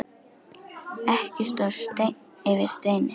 Ekki stóð steinn yfir steini.